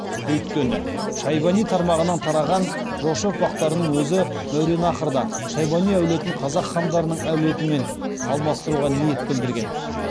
өйткені шайбани тармағынан тараған жошы ұрпақтарының өзі мәуераннахрда шайбани әулетін қазақ хандарының әулетімен алмастыруға ниет білдірген